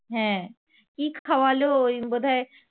কি খাওয়ালো ওই বোধ হয়